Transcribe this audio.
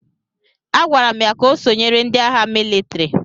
A gwara m ya ka o sonyere ndị agha mịlịtrị!